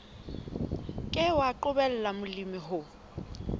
ke wa qobella molemi ho